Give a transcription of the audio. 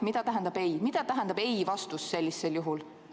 Mida tähendab jah- ja mida tähendab ei-vastus sellisel juhul?